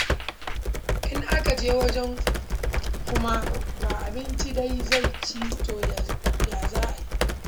In aka je wajen kuma ba abincin da zai ci to ya za a yi?